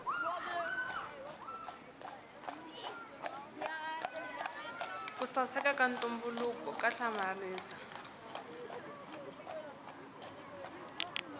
ku saseka ka ntumbuluko ka hlamarisa